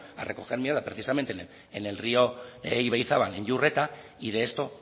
a recoger mierda precisamente en el río ibaizabal en iurreta y de esto